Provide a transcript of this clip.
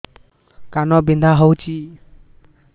କାନ ବିନ୍ଧା ହଉଛି